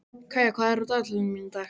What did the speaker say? Kæja, hvað er á dagatalinu í dag?